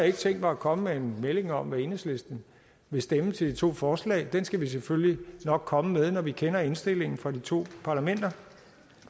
ikke tænkt mig at komme med en melding om hvad enhedslisten vil stemme til de to forslag den skal vi selvfølgelig nok komme med når vi kender indstillingen fra de to parlamenter